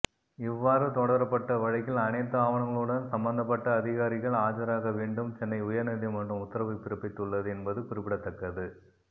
இவ்வாறு தொடரப்பட்ட வழக்கில் அனைத்து ஆவணங்களுடன் சம்பந்தப்பட்ட அதிகாரிகள் ஆஜராக வேண்டும் சென்னை உயர்நீதிமன்றம் உத்தரவு பிறப்பித்துள்ளது என்பது குறிப்பிடத்தக்கது